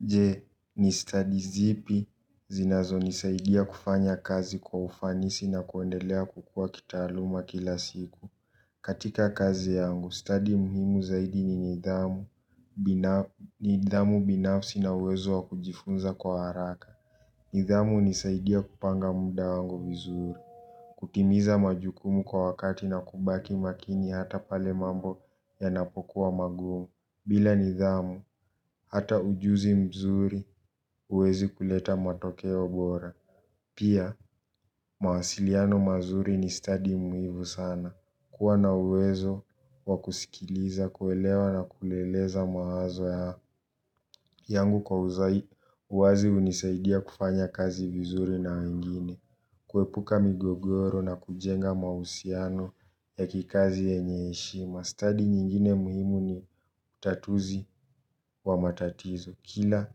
Jee, ni stadi zipi, zinazonisaidia kufanya kazi kwa ufanisi na kuendelea kukua kitaaluma kila siku? Katika kazi yangu, stadi muhimu zaidi ni nidhamu binafsi na uwezo wa kujifunza kwa haraka. Nidhamu huqqqnisaidia kupanga muda wangu vizuri. Kutimiza majukumu kwa wakati na kubaki makini hata pale mambo yanapokuwa magumu. Bila nidhamu, hata ujuzi mzuri huwezi kuleta matokeo bora. Pia, mawasiliano mazuri ni stadi muhimu sana. Kuwa na uwezo wa kusikiliza, kuelewa na kueleza mawazo yako. Yangu kwa uwazi, hunisaidia kufanya kazi vizuri na wengine. Kuepuka migogoro na kujenga mahusiano ya kikazi yenye heshima. Stadi nyingine muhimu ni utatuzi wa matatizo. Kila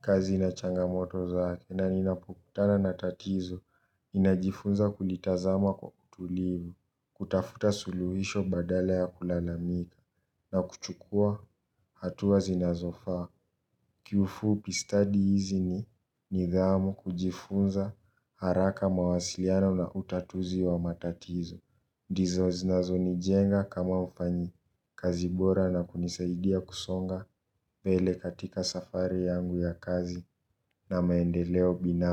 kazi ina changamoto zake na ninapokutana na tatizo, ninajifunza kulitazama kwa utulivu, kutafuta suluhisho badale ya kulalamika na kuchukua hatua zinazofaa. Kiufupi stadi hizi ni nidhamu, kujifunza haraka mawasiliano na utatuzi wa matatizo. Ndizo zinazonijenga kama mfanyikazi bora na kunisaidia kusonga mbele katika safari yangu ya kazi na maendeleo binafsi.